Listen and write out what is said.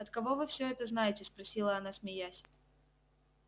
от кого вы всё это знаете спросила она смеясь